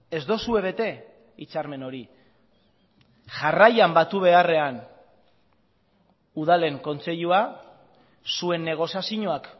ez duzue bete hitzarmen hori jarraian batu beharrean udalen kontseilua zuen negoziazioak